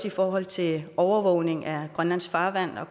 i forhold til overvågning af grønlands farvande og